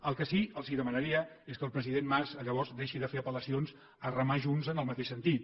el que sí que els demanaria és que el president mas llavors deixi de fer apel·lacions a remar junts en el mateix sentit